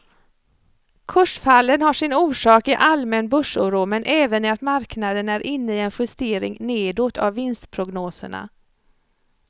Kursfallen har sin orsak i allmän börsoro men även i att marknaden är inne i en justering nedåt av vinstprognoserna.